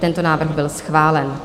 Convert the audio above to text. Tento návrh byl schválen.